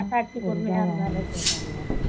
மனசாட்சிக்கு உண்மையா இருந்தாலே போதும்ல